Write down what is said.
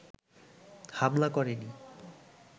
হামলা করেননি